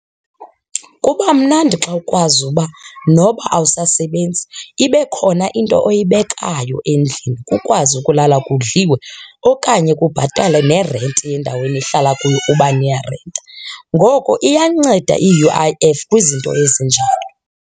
Kuba mnandi xa ukwazi uba noba awusasebenzi ibe khona into oyibekayo endlini kukwazi ukulala kudliwe okanye kubhatalwe nerenti yendawo enihlala kuyo uba niyarenta. Ngoko iyanceda i-U_I_F kwizinto ezinjalo.